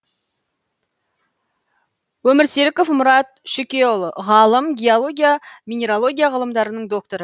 өмірсеріков мұрат шүкеұлы ғалым геология минералогия ғылымдарының докторы